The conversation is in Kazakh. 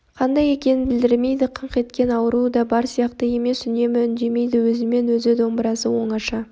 қандай екенін білдірмейді қыңқ еткен ауруы да бар сияқты емес үнемі үндемейді өзімен өзі домбырасымен оңаша